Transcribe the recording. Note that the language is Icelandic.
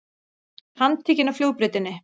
Handtekinn á flugbrautinni